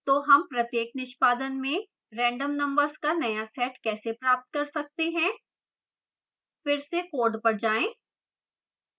तो हम प्रत्येक निष्पादन में random numbers का नया set कैसे प्राप्त कर सकते हैं